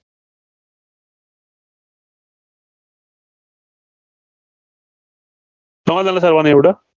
कळाल ना सर्वांना एवढं?